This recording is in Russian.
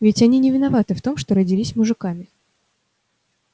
ведь они не виноваты в том что родились мужиками